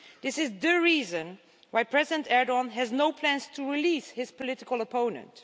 This is the reason why President Erdoğan has no plans to release his political opponent.